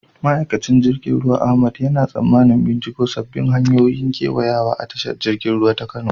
Ma'aikacin jirgin ruwa Ahmad yana tsammanin binciko sabbin hanyoyin kewayawa a tashar jirgin ruwa ta Kano.